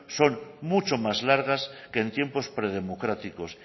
son mucho más largas que en tiempos predemocráticos